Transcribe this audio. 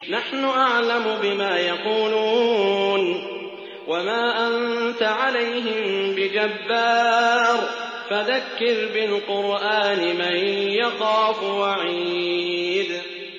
نَّحْنُ أَعْلَمُ بِمَا يَقُولُونَ ۖ وَمَا أَنتَ عَلَيْهِم بِجَبَّارٍ ۖ فَذَكِّرْ بِالْقُرْآنِ مَن يَخَافُ وَعِيدِ